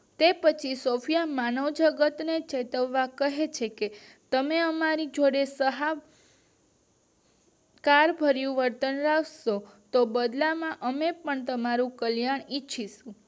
તે પછી સોફ્યએ માનવજગત ને ચેતવતા ખર છે કે અમારી જોડે સહાય કાર કર્યું વર્તન રાખશો તો બદલામાં અમે પણ તમારું કલ્યાણ ઈચ્છિસુ